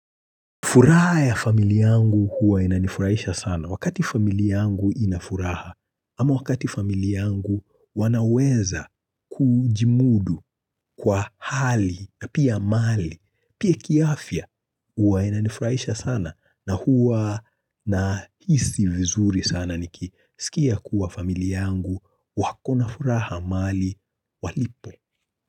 Furaha ya familia yangu huwa inanifurahisha sana. Wakati familia yangu inafuraha, ama wakati familia yangu wanaweza kujimudu kwa hali na pia mali, pia kiafya huwa inanifurahisha sana na huwa na hisii vizuri sana niki. Sikia kuwa familia yangu wakona furaha mahali walipo.